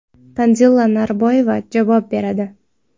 Tanzila Norboyeva javob beradi.